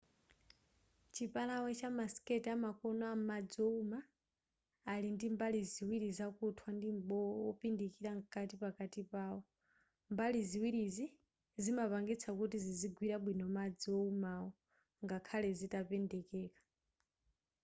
chipalawe cha ma skate amakono am'madzi owuma ali ndimbali ziwiri zakuthwa ndi m'bowo wopindikira mkati pakati pawo mbali ziwirizi zimapangisa kuti zizigwira bwino madzi oumawo ngakhale zitapendekeka